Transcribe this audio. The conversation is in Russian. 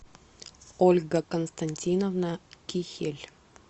ольга константиновна кихель